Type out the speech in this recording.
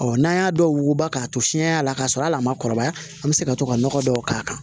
n'an y'a dɔw wuguba k'a to fiɲɛ y'a la k'a sɔrɔ al'a ma kɔrɔbaya an bɛ se ka to ka nɔgɔ dɔw k'a kan